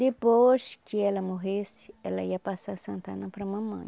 Depois que ela morresse, ela ia passar a Santa Ana para a mamãe.